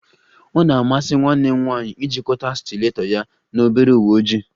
O na-amasi nwanne m nwanyị ijikọta stileto ya na obere uwe ojii